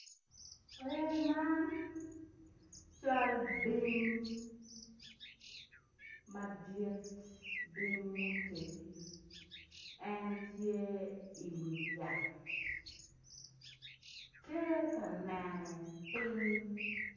Lee man cal bim madit bim motegi en tye i wi yat tye ka neno ping.